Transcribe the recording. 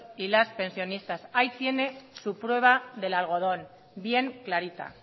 y las pensionistas ahí tiene su prueba del algodón bien clarita